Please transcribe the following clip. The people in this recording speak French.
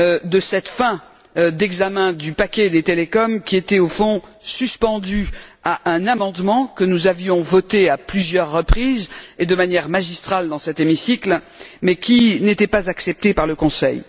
de cette fin d'examen du paquet télécoms qui était, au fond, suspendu à un amendement que nous avions voté à plusieurs reprises et de manière magistrale dans cet hémicycle, mais qui n'était pas accepté par le Conseil.